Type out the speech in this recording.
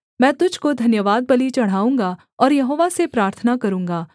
मैं तुझको धन्यवादबलि चढ़ाऊँगा और यहोवा से प्रार्थना करूँगा